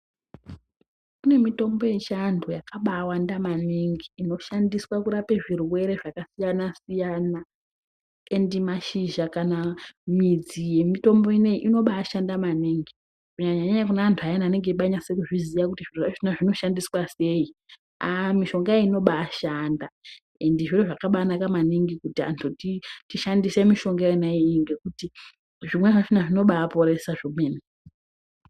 Kune mitombo yechianhu yakabayawanda maningi inoshandiswe kurape zvirwere zvakasiyanasiyana endi mashizha kana midzi yemitombo inoyi inobaashanda maningi kunyanyanyanya kune antu ayana anonge eibaanyase kuzviziya kuti zviro zvachona zvinoshandiswa sei aah mishonga iyi inobaa ashanda endi zviro zvakaba anaka maningi kuti anhu tishandise mishonga yona iyiyi ngekuti zvimweni zvachona zvinoba aporesa zvemene.